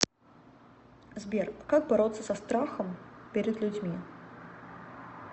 сбер как бороться со страхом перед людьми